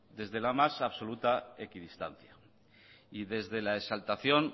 desde la más absoluta equidistancia y desde la exaltación